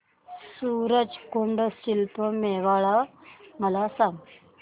सूरज कुंड शिल्प मेळावा मला सांग